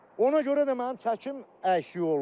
Ona görə də mənim çəkim əksik olub.